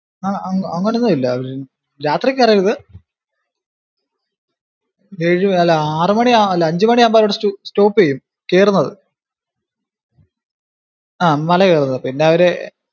ആഹ് അങ്ങനൊന്നും ഇല്ല രാത്രി കേറരുത്. ഏഴു അല്ല ആറു മണി അല്ല അഞ്ചു മണിയാവുമ്പോ അവിടെ stop ചെയ്യും കേറുന്നത്. ആഹ് മല കേറുന്നത്. പിന്നെ അവര്